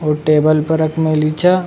और टेबल पर रख मेली छे।